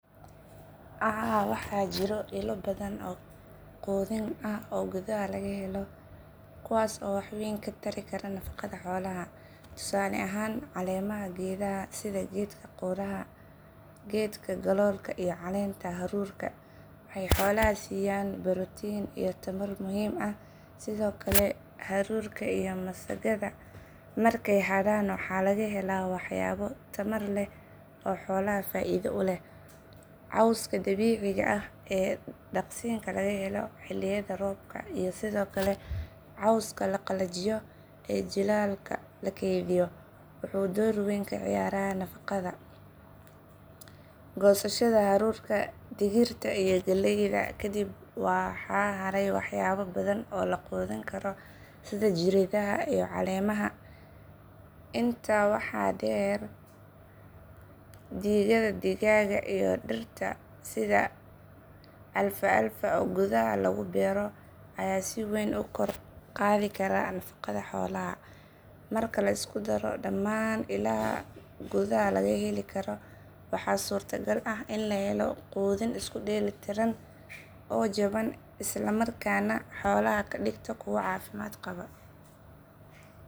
Haa, waxaa jira ilo badan oo quudin ah oo gudaha laga heli karo kuwaas oo wax weyn ka tari kara nafaqada xoolaha. Tusaale ahaan caleemaha geedaha sida geedka qudhaca, geedka galoolka iyo caleenta haruurka waxay xoolaha siiyaan borotiin iyo tamar muhiim ah. Sidoo kale haruurka iyo masagada markay hadhaan waxaa laga helaa waxyaabo tamar leh oo xoolaha faa'iido u leh. Cawska dabiiciga ah ee daaqsinka laga helo xilliyada roobka iyo sidoo kale cawska la qalajiyo ee jiilaalka loo keydiyo wuxuu door weyn ka ciyaaraa nafaqada. Goosashada haruurka, digirta iyo galleyda ka dib waxaa haray waxyaabo badan oo la quudin karo sida jirridaha iyo caleemaha. Intaa waxaa dheer digada digaaga iyo dhirta sida alfalfa oo gudaha lagu beero ayaa si weyn u kor u qaadi kara nafaqada xoolaha. Marka la isku daro dhammaan ilahan gudaha laga heli karo waxaa suurto gal ah in la helo quudin isku dheelitiran oo jaban isla markaana xoolaha ka dhigta kuwo caafimaad qaba.